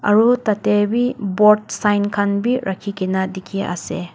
aro tateh bi board sign khan bi rakhigina dikhi asey.